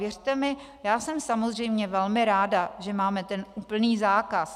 Věřte mi, já jsem samozřejmě velmi ráda, že máme ten úplný zákaz.